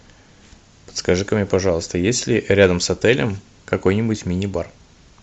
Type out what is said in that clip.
подскажи ка мне пожалуйста есть ли рядом с отелем какой нибудь мини бар